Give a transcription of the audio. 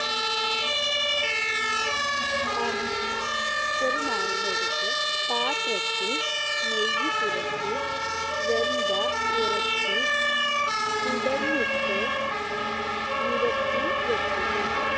പാ ചെറുനാരങ്ങ എടുത്ത് പാത്രത്തിൽ നെയ്യ് പുരട്ടി വെന്ത ഇറച്ചി കുടഞ്ഞിട്ട് നിരത്തി വെക്കുക.